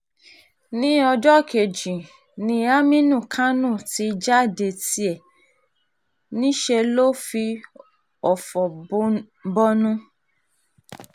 ní ọjọ́ kejì um ni aminu kánò ti jáde ní tiẹ̀ níṣẹ́ lọ fi ọ̀fọ̀ um bọnu